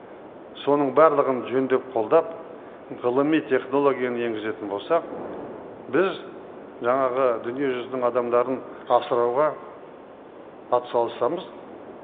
соның барылығын жөндеп қолдап ғылыми технологияны енгізетін болсақ біз жаңағы дүниежүзінің адамдарын асырауға атсалысамыз